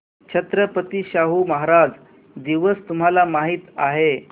छत्रपती शाहू महाराज दिवस तुम्हाला माहित आहे